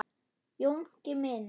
Jónki minn.